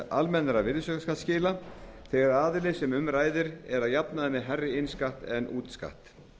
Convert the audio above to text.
almennra virðisaukaskattsskila þegar aðilinn sem um ræðir er að jafnaði með hærri innskatt en útskatt